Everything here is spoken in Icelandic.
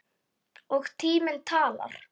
Og tíminn talar.